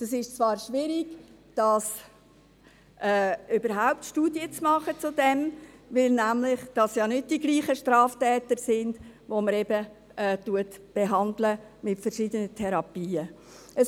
Es ist zwar schwierig, darüber überhaupt Studien zu machen, weil es nämlich nicht dieselben Straftäter sind, die man mit verschiedenen Therapien behandelt.